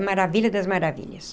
É maravilha das maravilhas.